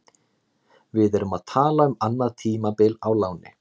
Við erum að tala um annað tímabil á láni.